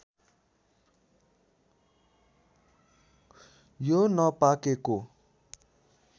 यो नपाकेको